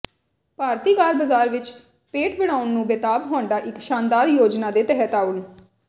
ਭਾਰਤੀ car ਬਾਜ਼ਾਰ ਵਿੱਚ ਪੇਠ ਬਣਾਉਣ ਨੂੰ ਬੇਤਾਬ ਹੋਂਡਾ ਇੱਕ ਸ਼ਾਨਦਾਰ ਯੋਜਨਾ ਦੇ ਤਹਿਤ ਆਉਣ